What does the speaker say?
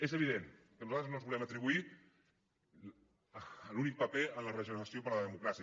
és evident que nosaltres no ens volem atribuir l’únic paper en la regeneració de la democràcia